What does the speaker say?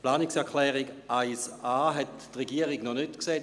Die Regierung hat die Planungserklärung 1.a noch nicht gesehen.